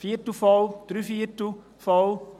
Ein Viertel voll, drei Viertel voll?